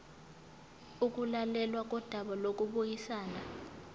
ukulalelwa kodaba lokubuyisana